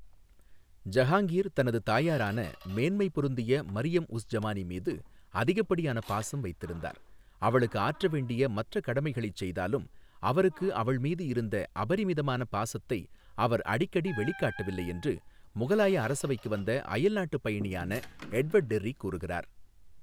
ஜஹாங்கீர் தனது தாயாரான மேன்மை பொருந்திய மரியம் உஸ் ஜமானி மீது அதிகப்படியான பாசம் வைத்திருந்தார், அவளுக்கு ஆற்ற வேண்டிய மற்ற கடமைகளைச் செய்தாலும் அவருக்கு அவள்மீது இருந்த அபரிமிதமான பாசத்தை அவர் அடிக்கடி வெளிக்காட்டவில்லை, என்று முகலாய அரசவைக்கு வந்த அயல்நாட்டுப் பயணியான எட்வர்டு டெர்ரி கூறுகிறார்.